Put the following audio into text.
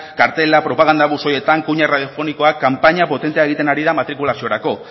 kartelak propaganda buzoietan kunia radiofonikoak kanpaina potentea egiten ari da matrikulaziorako